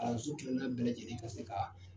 Kalanso kelen kelenna bɛɛ lajɛlen ka se ka